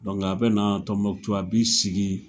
Dɔnku a bɛ na Tɔnmbɔkutu a b'i sigi.